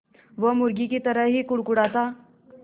वो मुर्गी की तरह ही कुड़कुड़ाता